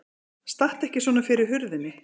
Stattu ekki svona fyrir hurðinni!